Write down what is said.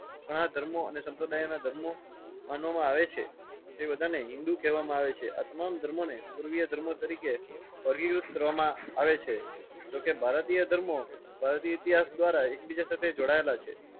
ઘણા ધર્મો અને સંપ્રદાયના ધર્મો માનવામાં આવે છે. તે બધાને હિન્દૂ કેવામાં આવે છે. આ તમામ ધર્મોને પૂર્વીય ધર્મો તરીકે અધિકૃત કરવામાં આવે છે. જો કે ભારતીય ધર્મો ભારતીય ઇતિહાસ ઘ્વારા એકબીજા સાથે જોડાયેલા છે.